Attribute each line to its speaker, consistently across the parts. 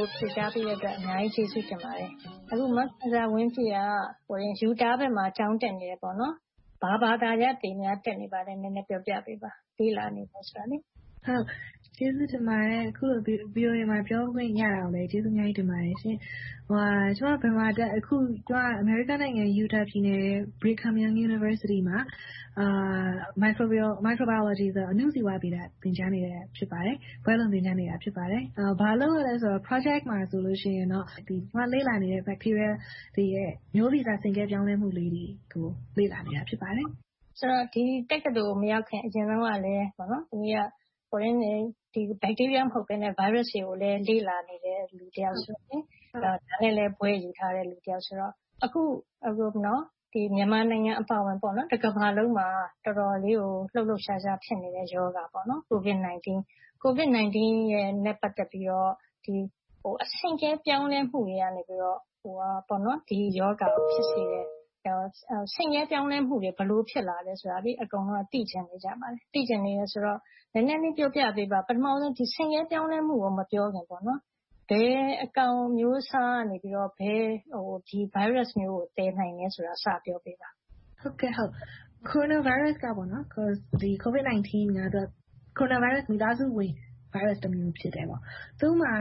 Speaker 1: ို ဖြေကြားပေးတဲ့အတွက် အများကြီးကျေးဇူးတင်ပါတယ်။ အခု မခင်ဇာဝင်းပြည့်က Utah ပြည်နယ်မှာ ကျောင်းတက်နေတယ်ပေါ့။ တက်ရောက်သင်ကြားနေတဲ့ ဘာသာရပ်တွေအကြောင်း နည်းနည်းပြောပြပေးပါ။
Speaker 2: အခုလို VOA မှာ ပြောခွင့်ရတာကို အများကြီးကျေးဇူးတင်ပါတယ်ရှင့်။ ကျမ အခု Utah ပြည်နယ်၊ Brigham Young University မှာ Microbiology အဏုဇီဝဗေဒ ဘာသာရပ်ကို သင်ကြားနေပါတယ်။ ဘွဲ့လွန်အတွက် သင်ကြားနေတာ ဖြစ်ပါတယ်။ ဘာလုပ်ရသလဲဆိုရင်တော့ Projects တွေမှာတော့ ကျမလေ့လာနေတဲ့ bacteria တွေရဲ့ မျိုးဗီဇဆင့်ကဲပြောင်းလဲမှုလေးတွေကို လေ့လာနေတာ ဖြစ်ပါတယ်။
Speaker 1: ဆိုတော့ ဒီတက္ကသိုလ်ကို မရောက်ခင်၊ အရင်တုန်းကလဲ bacteria မဟုတ်ဘဲ၊ virus တွေကိုလည်း လေ့လာနေခဲ့တယ်ဆိုတော့ အဲဒီအပိုင်းနဲ့လည်း ဘွဲ့ယူထားတယ်ဆိုတော့ အခု မြန်မာနိုင်ငံအပါအဝင် တကမ္ဘာလုံးမှာ လှုပ်လှုပ်ရှားရှား ဖြစ်နေတဲ့ ကိုဗစ်-၁၉ ရောဂါနဲ့ ပတ်သက်ပြီးတော့ ဆင့်ကဲပြောင်းလဲမှုတွေကနေ ဒီရောဂါကို ဖြစ်စေတယ်ဆိုတော့ ဆင့်ကဲပြောင်းလဲမှုတွေ ဘယ်လိုဖြစ်လာတယ်ဆိုတာကို အကုန်လုံးက သိချင်နေကြပါတယ်။ အဲဒါကို နည်းနည်းလေး ပြောပြပေးပါ။ ပထမဦးဆုံး ဒီဆင့်ကဲပြောင်းလဲမှုကို မပြောခင်၊ ဘယ်အကောင်အမျိုးအစားကနေ ဒီဗိုင်းရပ်စ်မျိုးကို သယ်နိုင်တယ်ဆိုတာကို စပြောပေးပါ။
Speaker 2: ကိုရိုနာဗိုင်းရပ်စ် ခေါ် ကိုဗစ်-၁၉ က ကိုရိုနာဗိုင်းရပ်စ် မိသားစုဝင် ဗိုင်းရပ်စ်တစ်မျိုး ဖြစ်တယ်။ သူ့မှာ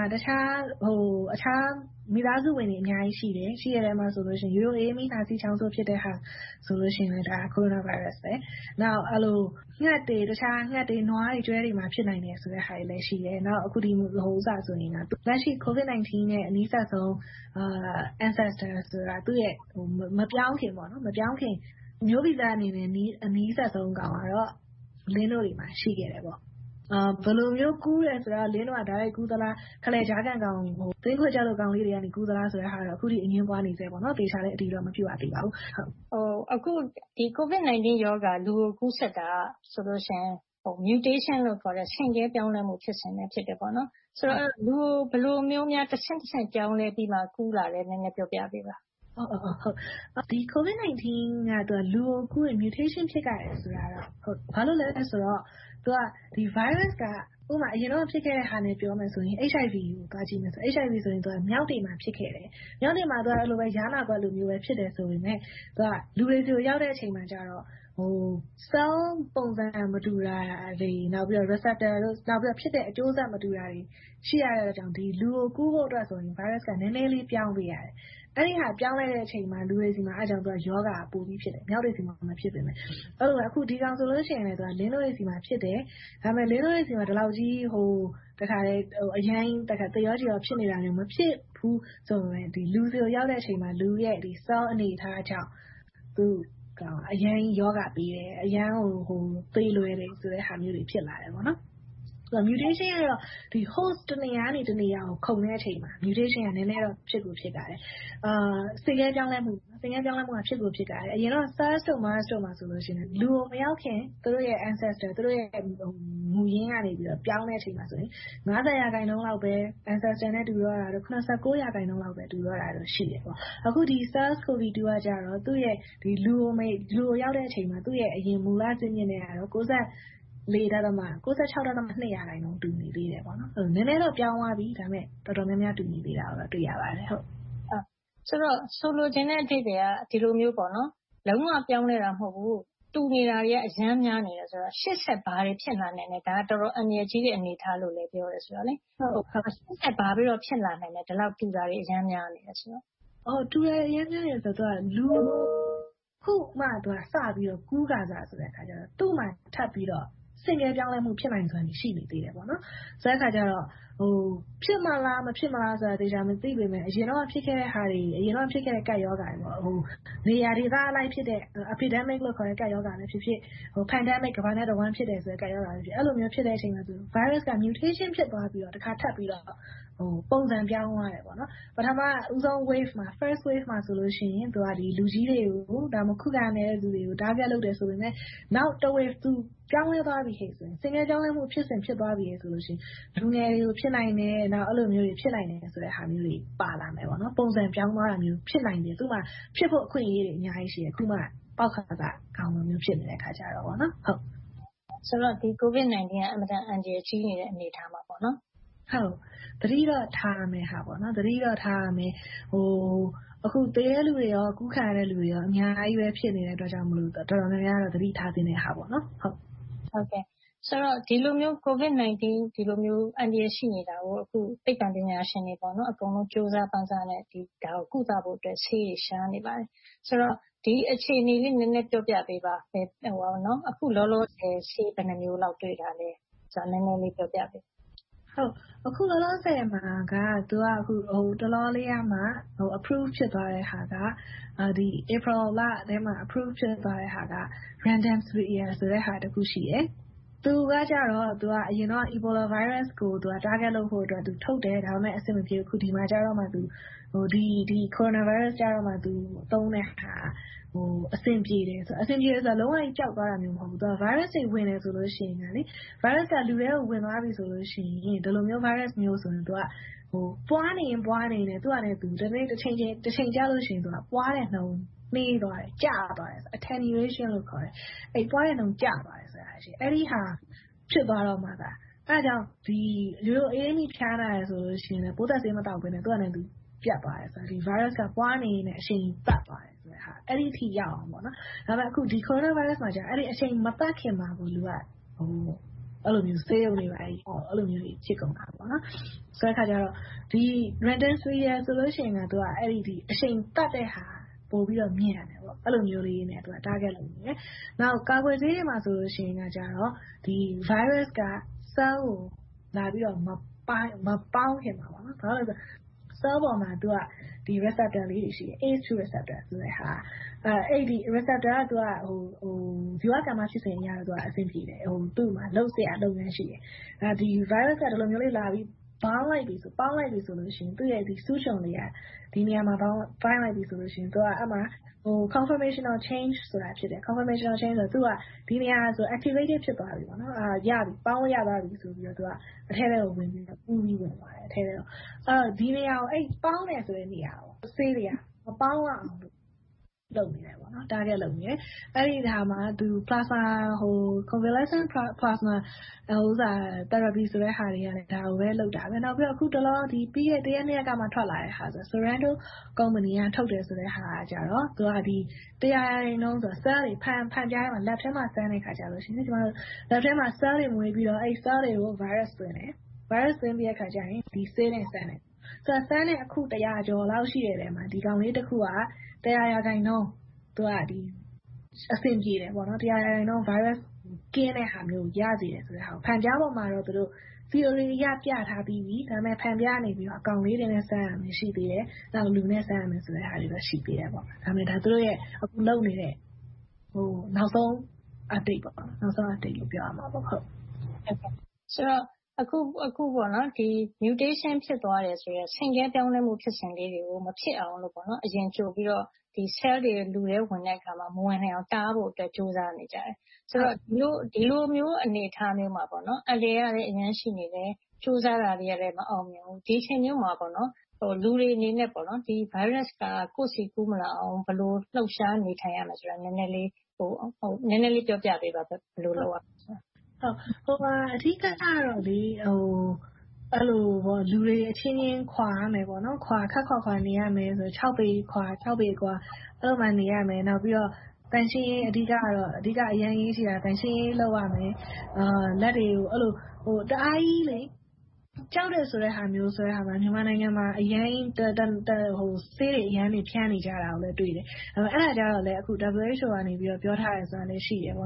Speaker 2: မိသားစုဝင်တွေ အများကြီးရှိတယ်။ အဲဒီအထဲမှာ ရိုးရိုး အအေးမိ၊ နှာစေးချောင်းဆိုးတာလည်း ကိုရိုနာဗိုင်းရပ်စ် အမျိုးအစားပဲ။ နောက် ငှက်တွေ၊ နွားတွေ၊ ကျွဲတွေမှာ ဖြစ်နိုင်တယ်ဆိုတာတွေလည်း ရှိတယ်။ အခုလက်ရှိ ကိုဗစ်-၁၉ နဲ့ အနီးစပ်ဆုံး ancestor သူ့ရဲ့မပြောင်းခင် မျိုးဗီဇအနေနဲ့ အနီးစပ်ဆုံးကောင်ကတော့ လင်းနို့တွေမှာ ရှိခဲ့တယ်။ ဘယ်လိုမျိုး ကူးသလဲဆိုတာက လင်းနို့က တိုက်ရိုက်ကူးသလား။ ကြားခံကောင် သင်းခွေချပ်ကောင်လေးတွေက ကူးသလားဆိုတာတွေကတော့ အခုထိ အငြင်းပွားနေဆဲပါ။ သေချာလဲ အတည်မပြုရသေးပါဘူး။
Speaker 1: အခု ကိုဗစ်-၁၉ ရောဂါ လူကိုကူးစက်တာက mutation လို့ခေါ်တဲ့ ဆင့်ကဲပြောင်းလဲမှု ဖြစ်စဉ်ကနေ ဖြစ်လာတယ်ဆိုတော့ လူကို ဘယ်လိုမျိုးများ တဆင့်တဆင့် ပြောင်းလဲပြီးတော့ ကူးတာလဲ။ နည်းနည်းပြောပြပေးပါ။
Speaker 2: ကိုဗစ်-၁၉ က လူကိုကူးရင် mutation ဖြစ်ရတယ်ဆိုတာတော့ ဟုတ်ပါတယ်။ ဘာလို့လဲဆိုတော့ ဒီဗိုင်းရပ်စ်က အရင်တုန်းက ဖြစ်ခဲ့တာနဲ့ ပြောမယ်ဆိုရင် HIV ကို သွားကြည့်မယ်ဆိုရင် HIV ဆိုရင် မျောက်တွေမှာ ဖြစ်ခဲ့တယ်။ မျောက်တွေမှာ ယားနားမျိုး ဖြစ်ပေမယ့် လူတွေဆီကို ရောက်တဲ့အချိန်မှာတော့ ဆဲလ်ပုံစံမတူတာနဲ့ နောက်ဖြစ်တဲ့အကျိုးဆက် မတူတာတွေ ရှိတာကြောင့် လူကိုကူးဖို့အတွက် ဗိုင်းရပ်စ်က နည်းနည်းလေးပြောင်းသွားတယ်။ အဲဒီလိုပြောင်းလိုက်တဲ့အချိန်မှာ လူတွေမှာ ရောဂါပိုပြီဖြစ်တယ်။ မျောက်တွေမှာ မဖြစ်ဘူး။ အဲဒီလိုပဲ ကိုဗစ်-၁၉ ဆိုရင်လဲ လင်းနို့တွေဆီမှာဖြစ်တယ်။ ဒါပေမဲ့ လင်းနို့တွေမှာ ဖြစ်နေတာ သေလောက်တဲ့ အခြေအနေမရှိဘဲ၊ လူတွေဆီရောက်တဲ့အချိန်မှာ ဆဲလ်အနေအထား မတူတာကြောင့် အရမ်းကြီးရောဂါဖြစ်စေတယ်။ အရမ်းကိုသေလွယ်တဲ့ဟာမျိုးတွေ ဖြစ်လာတယ်။ mutation ကတော့ host တစ်နေရာကနေ တစ်နေရာ ခုန်တဲ့အချိန်မှာ mutation က နည်းနည်းတော့ ဆင့်ကဲပြောင်းလဲမှုက ဖြစ်ကိုဖြစ်ရတယ်။ အရင်တုန်းက SARS, MARS တို့မှာလည်း လူကိုမရောက်ခင် သူတို့ရှေ့က ancestor မူရင်းကနေ ပြောင်းလဲချိန်မှာ ရာခိုင်နှုန်းလောက်ပဲ မူရင်းနဲ့တူတာတို့၊ ရာခိုင်နှုန်းလောက် တူတော့တာတို့ ရှိခဲ့တယ်။ အခု ဆဲလ်ကိုဗစ်ကတော့ လူကိုရောက်တဲ့အချိန်မှာ သူ့ရဲ့ အရင်ဇစ်မြစ်ဟာရဲ့ ရာခိုင်နှုန်း တူနေတယ်။ နည်းနည်းတော့ ပြောင်းသွားပြီ၊ ဒါပေမဲ့ တော်တော်များများ တူနေသေးတာကို တွေ့ရပါတယ်။
Speaker 1: ဆိုတော့ ဆိုလိုချင်တဲ့ အဓိပ္ပါယ်က ဒီလိုမျိုး လုံးဝပြောင်းလဲတာ မဟုတ်ဘူး၊ တူနေတာတွေက အရမ်းများနေတယ်ဆိုတော့ ရှေ့ဆက်ဘာတွေ ဖြစ်လာနိုင်လဲ။ ဒါက တော်တော်အန္တရာယ်ကြီးတဲ့ အနေအထားလို့လည်း ပြောတယ်ဆိုတော့။ အဲဒီတော့ ဘာတွေဆက်ဖြစ်လာနိုင်သလဲ။ ဒီလောက် တူတာတွေ အရမ်းများနေတယ်ဆိုတော့။
Speaker 2: တူတာတွေ အရမ်းများနေတယ်ဆိုတာက လူကို အခုမှစပြီးတော့ ကူးခါစဆိုတော့ သူ့မှာထပ်ပြီးတော့ ဆင့်ကဲပြောင်းလဲမှု ဖြစ်နိုင်စွမ်းတွေ ရှိနေသေးတယ်ဆိုတဲ့အခါကြတော့ ဖြစ်မလား၊ မဖြစ်ဘူးလားဆိုတာကို သေချာမသိပေမယ့်၊ အရင်တုန်းက ဖြစ်ခဲ့တဲ့ ကပ်ရောဂါတွေ - နေရာဒေသအလိုက်ဖြစ်တဲ့ epidemics ကပ်ရောဂါတွေပဲဖြစ်ဖြစ်၊ pandemic ကမ္ဘာနဲ့တဝှမ်းဖြစ်တဲ့ ကပ်ရောဂါပဲဖြစ်ဖြစ်။ အဲဒီလိုဖြစ်တဲ့အခါမှာ ဗိုင်းရပ်စ်က mutation ဖြစ်သွားပြီးတော့ တစ်ခါထပ်ပြီးတော့ ပုံစံပြောင်းသွားတယ်။ ပထမဦးဆုံး wave မှာဆိုရင် လူကြီးတွေကို၊ ခုခံအားနည်းတဲ့လူတွေကို အဓိကပစ်မှတ်ထားတယ်ဆိုပေမယ့် နောက်လာမယ့် wave မှာ ပြောင်းလဲသွားပြီ၊ ဆင့်ကဲပြောင်းလဲသွားပြီဆိုရင် လူငယ်တွေကို ဖြစ်နိုင်တယ်ဆိုတဲ့ အနေအထား ဖြစ်လာနိုင်တယ်။ ပုံစံပြောင်းသွားတဲ့ ဖြစ်နိုင်ချေ သူ့မှာ ဖြစ်ဖို့အခွင့်အရေးတွေ အများကြီးရှိနိုင်တယ်။ သူက ပေါက်ခါစအကောင်လို ဖြစ်နေတဲ့ အခြေအနေဆိုတော့။
Speaker 1: ဆိုတော့ ကိုဗစ်-၁၉ က အင်မတန်အန္တရာယ်ကြီးနေတဲ့ အနေအထားမှာပေါ့။
Speaker 2: ဟုတ်ကဲ့။ သတိတော့ ထားရမယ်။ အခု သေတဲ့လူတွေနဲ့ ကူးစက်ခံရတဲ့လူတွေ အများကြီး ဖြစ်နေတဲ့အတွက်ကြောင့် တော်တော်များများတော့ သတိထားရမှာပေါ့။
Speaker 1: ဒီလိုမျိုး ကိုဗစ်-၁၉ အန္တရာယ် ရှိနေတာကို အခု သိပ္ပံပညာရှင်တွေ အကုန်လုံးက ကြိုးစားပမ်းစားနဲ့ ဒီရောဂါကို ကုသဖို့အတွက် ဆေးတွေရှာနေပါတယ်။ ဒီအခြေအနေလေး နည်းနည်းပြောပြပေးပါ။ အခုလောလောဆယ် ဆေးဘယ်နှစ်မျိုးလောက် တွေ့ထားပြီးပြီလဲဆိုတာကို နည်းနည်းလေးပြောပြပေးပါ။
Speaker 2: အခုလောလောဆယ်မှာက ဟိုတလောလေးကမှ approve ဖြစ်သွားတဲ့ဟာက ဧပြီလထဲမှာ approve ဖြစ်သွားတဲ့ဆေးက Ivermectin ဆိုတာ ရှိတယ်။ သူကတော့ အရင်တုန်းက အီဘိုလာဗိုင်းရပ်စ်ကို ကုသဖို့အတွက် အဓိကထုတ်ခဲ့တယ်။ ဒါပေမဲ့ အဆင်မပြေခဲ့ဘူး။ အခုဒီမှာကြတော့မှ သူသုံးတဲ့ဟာက အဆင်ပြေလာတယ်။ အဆင်ပြေတယ်ဆိုတာ လုံးဝကြီးပျောက်သွားတာမျိုး မဟုတ်ဘူး။ သူက ဗိုင်းရပ်စ်က လူထဲကို ဝင်သွားပြီဆိုရင် ဒီလိုမျိုးဗိုင်းရပ်စမျိုးဆိုရင် ပွားနေရင်ပွားနေပြီး သူ့ဟာနဲ့သူ တချိန်ကြရင် ပွားတဲ့နှုန်းနှေးသွားတယ်။ ကျသွားတယ်။ အဲဒီဟာ ဖြစ်သွားတော့မှ။ အဲဒါကြောင့် ရိုးရိုးအအေးမိဖျားလာလို့ရှိရင် ပိုးသတ်ဆေးမသောက်ဘဲနဲ့ သူ့ဟာနဲ့သူ ပျက်သွားတယ်။ ဒီဗိုင်းရပ်စ်က ပွားနေရင်နဲ့ အရှိန်သတ်သွားတဲ့ အနေအထားရောက်အောင် လုပ်ရတယ်။ ဒါပေမဲ့ ကိုရိုနာဗိုင်းရပ်စ်မှာတော့ ဒီအရှိန်မသတ်ခင်မှာပင် လူက ဆေးရုံတွေရောက်၊ သေတဲ့အထိ ဖြစ်ကုန်တာ။ ဆိုတော့ --- က အဲဒီအရှိန်သတ်တဲ့ဟာကို ပိုပြီးတော့မြန်တယ်။ နောက် ကာကွယ်ဆေးတွေမှာဆိုရင်တော့ ဗိုင်းရပ်စ်က ဆဲလ်ကို လာပြီးတော့ မပေါင်းခင်မှာ - ဆဲလ်ပေါ်မှာ receptors လေးတွေ ရှိတယ်။ receptors တွေက ဇီဝကမ္မဖြစ်စဉ်အတွက်တော့ အဆင်ပြေတယ်။ သူ့မှာ လုပ်စရာအလုပ်တွေ ရှိတယ်။ ဒါပေမဲ့ ဗိုင်းရပ်စ်က ဒီလိုမျိုးတွေလာပြီးပေါင်းလိုက်ပြီဆိုရင် သူ့ရဲ့စူးချွန်လေးက အဲဒီမှာ conformational changes ဆိုတာ ဖြစ်ပြီး activate ဖြစ်ကာ ပေါင်းလို့ရသွားပြီဆိုကာ အထဲထဲကိုဝင်ပြီးတော့ ဝင်သွားနိုင်တယ်။ ဒီလိုပေါင်းမယ်ဆိုတဲ့ နေရာကို ဆေးတွေက မပေါင်းရအောင် လုပ်နေတယ်။ အဲဒီမှာ Convalescent plasma therapy လုပ်တယ်ဆိုတာကလဲ ဒါကိုပဲလုပ်တာ။ အခုတလော ပြီးခဲ့တဲ့ တစ်ရက်၊ နှစ်ရက်ကမှ ထွက်လာတဲ့ -- ကုမ္ပဏီက ထုတ်တယ်ဆိုတဲ့ဟာကတော့ တစ်ရာရာခိုင်နှုန်း ဆဲလ်တွေကို ဓါတ်ခွဲခန်း ဖန်ပြားပေါ်မှာ စမ်းတဲ့အခါမှာ lab ဓါတ်ခွဲခန်းထဲမှာ ဆဲလ်တွေ မွေးပြီးတော့ ဆဲလ်တွေကို ဗိုင်းရပ်စ်သွင်းတယ်။ ဗိုင်းရပ်စ်သွင်းပြီးတော့ ဒီဆေးနဲ့စမ်းတယ်။ စမ်းတဲ့ အခု တစ်ရာကျော်လောက်ထဲမှာ ဒီကောင်လေးတစ်ခုက တစ်ရာရာခိုင်နှုန်း အဆင်ပြေတယ်။ တစ်ရာရာခိုင်နှုန်း ဗိုင်းရပ်စ်ကင်းတဲ့ဟာမျိုးကို ရစေတယ်။ ဖန်ပြားပေါ်မှာတော့ သီအိုရီအရ ပြထားပြီးပြီ။ ဒါပေမဲ့ ဖန်ပြားပေါ်မှာ အကောင်လေးတွေနဲ့ စမ်းတာပဲ ရှိသေးတယ်။ လူနဲ့စမ်းရမယ်ဆိုတာတော့ ရှိသေးတယ်။ ဒါက သူတို့လုပ်နေတဲ့ နောက်ဆုံးအခြေအနေလို့ ပြောရမျာပေါ့။
Speaker 1: ဆိုတော့ အခု mutation ဖြစ်သွားတယ်ဆိုတဲ့ ဆင့်ကဲပြောင်းလဲမှုဖြစ်စဉ်တွေကို မဖြစ်အောင်လို့ အရင်ကြိုပြီးတော့ ဆဲလ်တွေ လူထဲကို ဝင်တဲ့အခါမှာ မဝင်နိုင်အောင် တားဖို့အတွက် ကြိုးစားနေကြတယ်။ ဆိုတော့ ဒီလိုမျိုးအနေအထားမှာ အန္တရာယ်ကလဲ အရမ်းရှိနေတယ်။ ကြိုးစားနေတာတွေကလဲ မအောင်မြင်သေးဘူး။ ဒီအခြေအနေအတွင်းမှာ လူတွေအနေနဲ့ ဒီဗိုင်းရပ်စ်က ကိုယ့်ဆီကူးမလာအောင် ဘယ်လိုလှုပ်ရှားနေထိုင်ရမယ်ဆိုတာကို နည်းနည်းလေးပြောပြပေးပါ။ ဘယ်လိုလုပ်မယ်ဆိုတာ။
Speaker 2: အဓိကတော့ လူတွေအချင်းချင်း ခပ်ခွါခွါနေရမယ်။ ပေအကွာ နေရမယ်။ အဓိကတော့ သန့်ရှင်းရေးက အရမ်းအရေးကြီးတယ်။ သန့်ရှင်းရေးလုပ်ရမယ်။ လက်တွေကို တအားကြီး ကြောက်တယ်ဆိုတာမျိုး မြန်မာပြည်မှာ ဆေးတွေအများကြီး ဖြန်းနေတာကို တွေ့တယ်။ အဲဒါကိုတော့ WHO က ပြောထားတာရှိတယ်။ အဲဒီ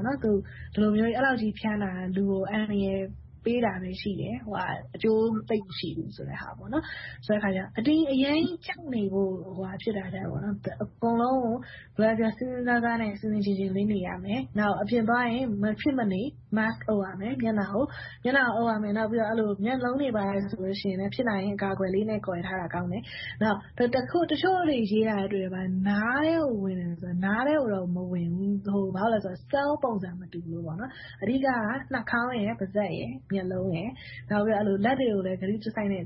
Speaker 2: လိုမျိုး ဖြန်းတာက လူကို အန္တရာယ်ပေးတာပဲ ရှိတယ်။ အကျိုးသိပ်မရှိဘူးဆိုတာ။ ဆိုတော့ အရမ်းကြောက်နေတာထက် စဉ်းစဉ်းစားစားနဲ့ ဆင်ဆင်ခြင်ခြင် နေရမယ်။ နောက်အပြင်သွားရင် မဖြစ်မနေ Mask အုပ်ရမယ်။ မျက်လုံးတွေဘာတွေလည်း အကာအကွယ်လေးနဲ့ ကာကွယ်ထားတာကောင်းတယ်။ နောက် တချို့တွေရေးထားတာတွေ့တယ်။ နားထဲကိုဝင်တယ်ဆိုတာ - နားထဲကိုတော့ မဝင်ဘူး။ ဘာဖြစ်လို့လဲဆိုတော့ ဆဲလ်ပုံစံ မတူလို့ပါ။ အဓိကတော့ နှာခေါင်း၊ ပါးစပ် နဲ့ မျက်လုံးတွေ။ နောက် လက်တွေကိုလည်း ဂရုတစိုက်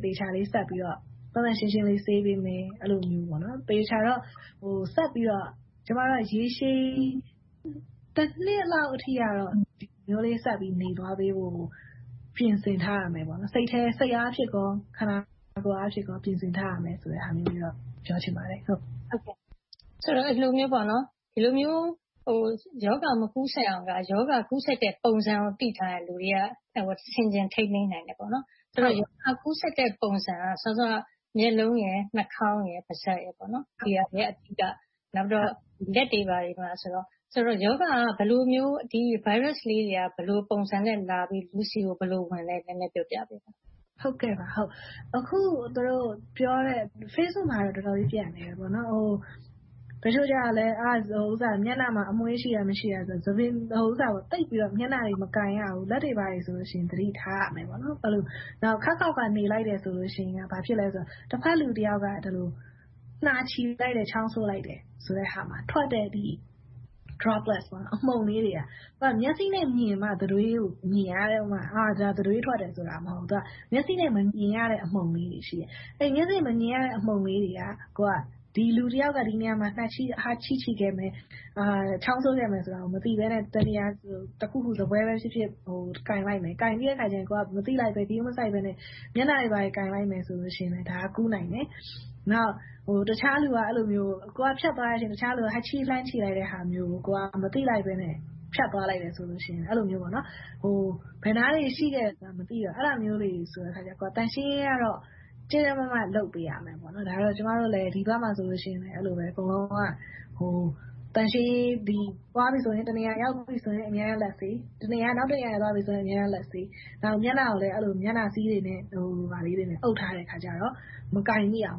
Speaker 2: သေချာလေး ဆေးကြောပေးမယ်။ သေချာတာကတော့ ရေရှည် နှစ်လောက်အထိတော့ ဒီလိုမျိုး ဂရုစိုက်ပြီး နေသွားဖို့ကိုတော့ ပြင်ဆင်ထားရမယ်။ စိတ်အားဖြင့်ကော၊ ခန္ဓာကိုယ်အားဖြင့် ပြင်ဆင်ထားရမယ်ဆိုတာကိုတော့ ပြောချင်ပါတယ်။
Speaker 1: ဒီလိုမျိုး ရောဂါမကူးစက်အောင်က ရောဂါ ကူးစက်တဲ့ပုံစံကို သိထားတယ်ဆိုရင် လူတွေက ဆင်ခြင်ထိန်းသိမ်းနေနိုင်တယ်။ ဆိုတော့ ရောဂါကူးစက်တဲ့ ပုံစံက စောစောက မျက်လုံး၊ နှာခေါင်း၊ ပါးစပ်တို့က အဓိက။ နောက်ပြီးတော့ လက်တွေဘာတွေဆိုတော့ ရောဂါက ဒီဗိုင်းရပ်စ်လေးတွေက ဘယ်လိုမျိုးပုံစံနဲ့လာပြီး လူတွေဆီကို ဘယ်လိုဝင်လဲ နည်းနည်းပြောပြပေးပါ။
Speaker 2: အခုပြောနေတဲ့ Facebook မှာတော့ တော်တော်လေး ပျံ့နေတယ်။ တချို့ကလဲ မျက်နှာမှာ အမွှေးရှိတာ၊ မရှိတာ။ သိပ်ပြီးတော့ မျက်နှာတွေ မကိုင်ရဘူး။ လက်တွေဘာတွေဆိုရင် သတိထားရမယ်။ နောက်ခပ်ခွါခွါနေလိုက်တယ်ဆိုရင် ဘာဖြစ်လဲဆိုတော့ တဘက်လူတစ်ယောက်က နှာချေးလိုက်တယ်၊ ချောင်းဆိုးလိုက်တယ်ဆိုရင် ထွက်လာတဲ့ အမှုန်အမွှားလေးတွေက မျက်စိနဲ့မြင်တာက တံတွေးထွက်တယ်ဆိုတာ။ အဲဒါမဟုတ်ဘူး။ မျက်စိနဲ့မမြင်ရတဲ့ အမှုန်လေးတွေ ရှိတယ်။ အဲဒီအမှုန်လေးတွေက ဒီလူတစ်ယောက်ရဲ့ နှာချေးခဲ့မယ်။ ချောင်းဆိုခဲ့တယ်ဆိုတာကို မသိဘဲနဲ့ ထိုင်ခုံ၊ စားပွဲကို ကိုင်လိုက်မယ်။ အဲဒါကို ဂရုမစိုက်ဘဲနဲ့ မျက်နှာတွေ ဘာတွေကိုင်လိုက်မယ်ဆိုရင် အဲဒါက ကူးနိုင်တယ်။ နောက် ကိုယ်ကဖြတ်သွားတဲ့အချိန် တခြားလူက ဟပ်ချေးဖြစ်တဲ့ဟာမျိုး - အဲဒီလိုမျိုး ဘယ်နားတွေမှာ ဗိုင်းရပ်စ် ရှိမယ်ဆိုတာ မသိတော့ ကိုယ်က သန့်ရှင်းရေးကိုတော့ ကြပ်ကြပ်မတ်မတ် လုပ်ပေးရမယ်။ ဒီဘက်မှာဆိုရင်လဲ ကျမတို့က တနေရာကို သွားပြီဆိုရင် အမြဲတမ်းလက်ဆေးတယ်။ နောက်တနေရာကို သွားတဲ့အခါမှာလဲ လက်ဆေး။ မျက်နှာကိုလည်း မျက်နှာစည်းတွေနဲ့ အုပ်ထားတဲ့အခါကြတော့ မကိုင်မီအောင်